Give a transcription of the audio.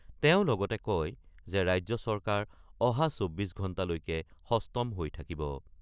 তেওঁ লগতে কয় যে ৰাজ্য চৰকাৰ অহা ৪৮ ঘণ্টালৈকে সস্তম হৈ থাকিব।